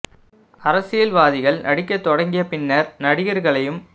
அரசியல் வாதிகள் நடிக்கத்தொடங்கிய பின்னர் நடிகர்களையும்